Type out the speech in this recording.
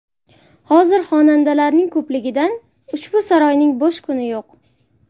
Hozir xonandalarning ko‘pligidan, ushbu saroyning bo‘sh kuni yo‘q.